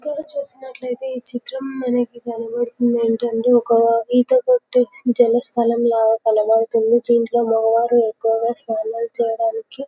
చూసినట్లు అయితే ఈ చిత్రం లో మనకు కనబడేది ఏంటి అంటే ఒక ఈత కొట్టే లాగా స్థలం కనపడుతుంది ఇందులో మోగా వారు ఎక్కువగా స్నానం చేయడానికి.